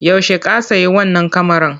Yaushe ka sayi wannan kamaran?